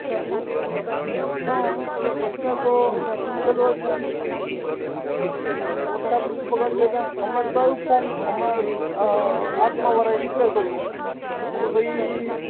હમ એટલે પ્રશ્ન તો ઉકેલવા જ નઈ, વરસાદ બગાડી જ્યાં અમે ત્યાં એવું form અમે આત્માવાળા એ declare કર્યું કે ભાઈ